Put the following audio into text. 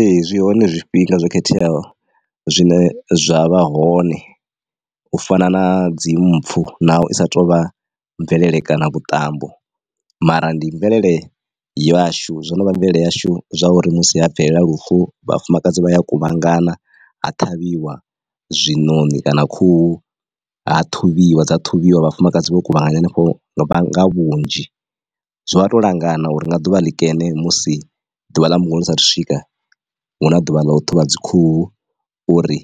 Ee zwi hone zwifhinga zwo khetheaho zwine zwa vha hone u fana na dzi mpfu naho isa tovha mvelele kana vhuṱambo mara ndi mvelele yashu zwonovha mvelele yashu zwa uri musi ha bvelela lufu vhafumakadzi vha ya kuvhangana ha ṱhavhiwa zwiṋoni kana khuhu ha ṱhuvhiwa dza ṱhuvhiwa vhafumakadzi vho kuvhanganya hanefho vhanga vhunzhi zwo to langana uri nga ḓuvha ḽikene musi ḓuvha ḽa mbulungo lo sa athu swika huna ḓuvha ḽa u ṱhuvha dzi khuhu uri